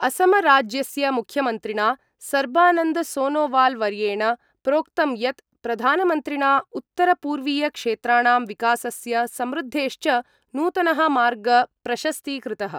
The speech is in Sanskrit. असमराज्यस्य मुख्यमन्त्रिणा सर्बानन्द-सोनोवालवर्येण प्रोक्तं यत् प्रधानमन्त्रिणा उत्तर-पूर्वीय क्षेत्राणां विकासस्य समृद्धेश्च नूतन: मार्ग प्रशस्ती कृत:।